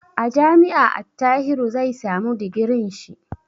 A jami'a Attahiru zai samu digirin shi.